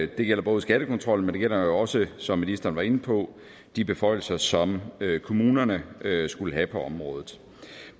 det gælder både skattekontrollen men det gælder også som ministeren var inde på de beføjelser som kommunerne skal have på området